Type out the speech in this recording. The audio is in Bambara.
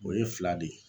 O ye fila de ye